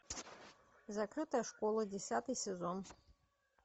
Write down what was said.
закрытая школа десятый сезон